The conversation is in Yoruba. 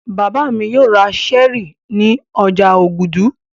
Bàbá mi yóò ra Sẹ́ẹ́rì ní ọjà Ògùdù.